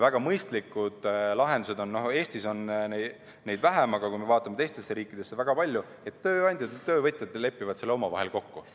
Väga mõistlikud lahendused on, Eestis on neid vähem, aga kui me vaatame teisi riike, siis väga palju on seda, et tööandjad ja töövõtjad lepivad selle omavahel kokku.